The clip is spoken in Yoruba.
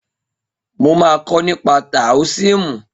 Mo máa kọ́ nípa táóisìmù